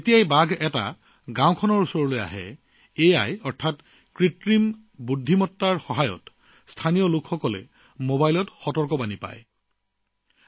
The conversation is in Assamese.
যেতিয়াই গাঁৱৰ ওচৰলৈ বাঘ আহে কৃত্ৰিম বুদ্ধিমত্তাৰ সহায়ত স্থানীয় ৰাইজৰ মোবাইল ফোনলৈ সতৰ্কবাণী প্ৰেৰণ কৰা হয়